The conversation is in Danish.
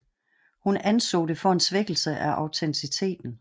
Hun anså det for en svækkelse af autenciteten